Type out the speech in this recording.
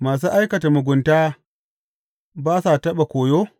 Masu aikata mugunta ba sa taɓa koyo?